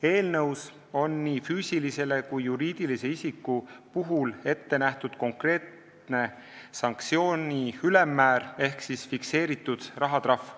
Eelnõus on nii füüsilise kui ka juriidilise isiku puhul ette nähtud konkreetne sanktsiooni ülemmäär ehk fikseeritud rahatrahv.